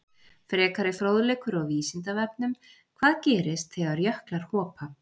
Frekari fróðleikur á Vísindavefnum: Hvað gerist þegar jöklar hopa?